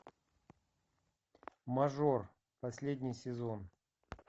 мажор последний сезон